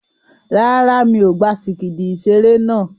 Rárá, mi ò gba sìgìdì ìṣeré náà.